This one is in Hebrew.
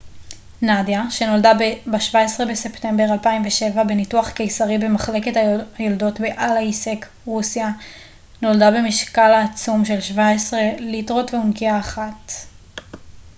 נדיה שנולדה ב-17 בספמטבר 2007 בניתוח קיסרי במחלקת היולדות באלייסק רוסיה נולדה במשקל העצום של 17 ליטרות ואונקיה אחת